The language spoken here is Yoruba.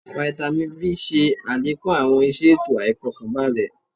Fáítámì B ṣe àlékún àwọn iṣẹ ètò àìfọkanbalẹ̀